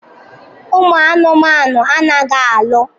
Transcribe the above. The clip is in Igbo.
Ụmụ anụmanụ anaghị alụ.